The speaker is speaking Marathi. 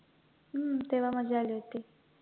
हम्म तेव्हा मज्जा आली होती